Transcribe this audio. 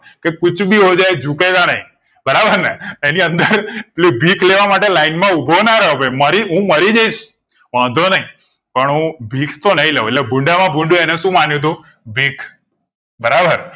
કે કુછ ભી જુકેગા નહિ બરાબર ને એની અંદર પેલું ભીખ લેવા માટે line માં ઉભો ના રવ ભઈ મરી હું મરી જઈશ વાંધો નહીં પણ હું ભીખ તો નયલ લવ એટલે ભૂંડ મા ભૂંડુ અને શું માન્યું તું ભીખ બરાબર